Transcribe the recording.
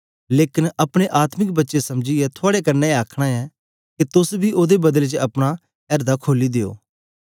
लेकन अपने आत्मिक बच्चे समझीयै थुआड़े कन्ने आखन ऐ के तोस बी ओदे बदले च अपना एर्दें खोली दियो